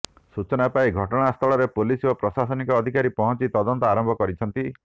ସୂଚନା ପାଇ ଘଟଣାସ୍ଥଳରେ ପୁଲିସ ଓ ପ୍ରଶାସନିକ ଅଧିକାରୀ ପହଞ୍ଚି ତଦନ୍ତ ଆରମ୍ଭ କରିଛନ୍ତି